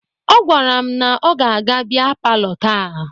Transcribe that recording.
Ọ gwara m na ọ ga-aga bịa palọ taa